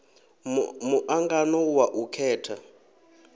mu angano wa u khetha